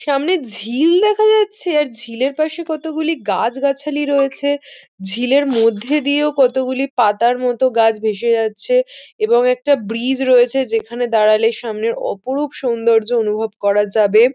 সামনে ঝি-ই-ল দেখা যাচ্ছে আর ঝিলের পাশে কতগুলি গাছগাছালি রয়েছে ঝিলের মধ্যে দিয়েও কতগুলি পাতার মত গাছ ভেসে যাচ্ছে এবং একটা ব্রিজ রয়েছে যেখানে দাঁড়ালে সামনের অপরুপ সৌন্দর্য অনুভব করা যাবে।